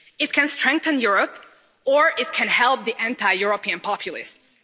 It can strengthen Europe or it can help the anti European populists.